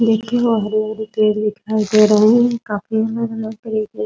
देखिए वो हरे-हरे पेड़ दिखाई दे रहे हैं । काफी ज्यादा हरे हरे पेड़ --